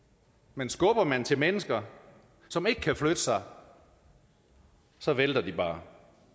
men skubber man til mennesker som ikke kan flytte sig så vælter de bare